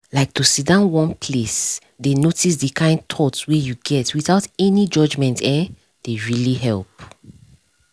like to sidon one place dey notice the kind thoughts wey you get without any judgement[um]dey really help